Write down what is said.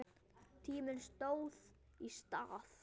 Tíminn stóð í stað.